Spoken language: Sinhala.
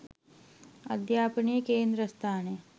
අධ්‍යාපනයේ කේන්ද්‍රස්ථානය